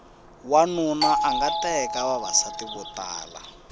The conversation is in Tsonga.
wanuna anga teka vavasati vo tala